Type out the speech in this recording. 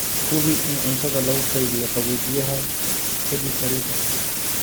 Hubi in cuntada lagu keydiyo qaboojiyaha ka dib karinta.